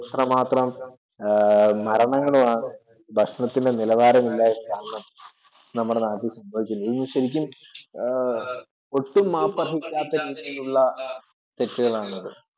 അത്രമാത്രം മരണങ്ങളാണ് ഭക്ഷണത്തിലെ നിലവാരമില്ലായ്മ കാരണം നമ്മുടെ നാട്ടിൽ സംഭവിച്ചത്. ഇതിനു ശരിക്കും ഒട്ടും മാപ്പർഹിക്കാത്ത രീതിയിലുള്ള തെറ്റുകളാണത്.